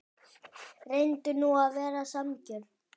Reyndu nú að vera sanngjörn.